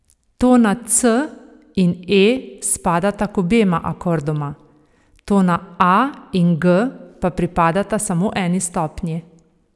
Tona c in e spadata k obema akordoma, tona a in g pa pripadata samo eni stopnji.